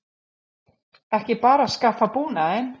Ekki bara að skaffa búnaðinn?